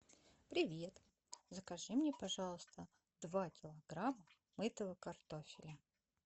привет закажи мне пожалуйста два килограмма мытого картофеля